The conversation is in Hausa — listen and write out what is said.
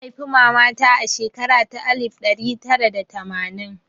An haifi mama ta a shekara ta alif ɗara tara da tamanin